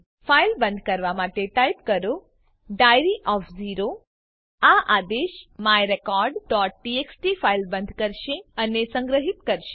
file બંધ કરવા માટે ટાઈપ કરો ડાયરી ઓફ ઝીરો આ આદેશ myrecordટીએક્સટી ફાઈલ બંધ કરશે અને સંગ્રહિત કરશે